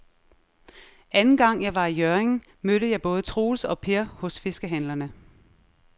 Anden gang jeg var i Hjørring, mødte jeg både Troels og Per hos fiskehandlerne.